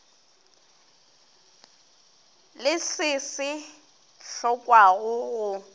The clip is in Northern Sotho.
le se se hlokwago go